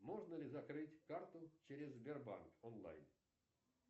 можно ли закрыть карту через сбербанк онлайн